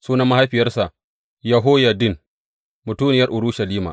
Sunan mahaifiyarsa Yehoyaddin, mutuniyar Urushalima.